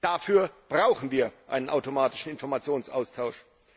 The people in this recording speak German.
Dafür brauchen wir einen automatischen Informationsaustausch.